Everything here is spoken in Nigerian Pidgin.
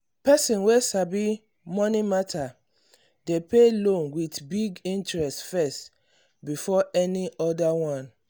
person wey sabi money matter dey pay loan with big interest first before any other one.